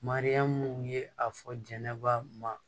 Mariyamu ye a fɔ jɛnɛba ma